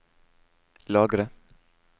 lagre